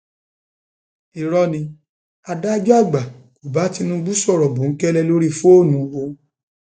irọ ni adájọ àgbà kò bá tinubu sọrọ bòńkẹlẹ lórí fóònù o